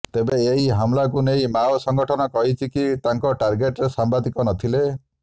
ତେବେ ଏହି ହମ୍ଲାକୁ ନେଇ ମାଓ ସଂଗଠନ କହିଛି କି ତାଙ୍କ ଟାର୍ଗେଟ୍ରେ ସାମ୍ବାଦିକ ନ ଥିଲେ